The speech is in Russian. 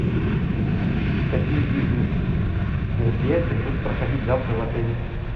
какие бизнес мероприятия будут проходить завтра в отеле